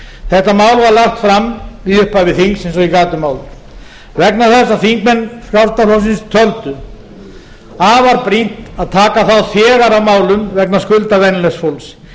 þetta mál var lagt fram í upphafi þings eins og ég gat um þaðan vegna þess að þingmenn frjálslynda flokksins töldu afar brýnt að taka þá þegar á málum vegna skulda venjulegs fólks